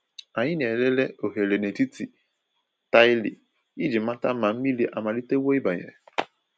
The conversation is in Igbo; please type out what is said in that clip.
Ànyị na-elele oghere n’etiti taịlị iji mata ma mmiri amalitewo ịbanye.